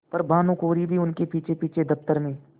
पर भानुकुँवरि भी उनके पीछेपीछे दफ्तर में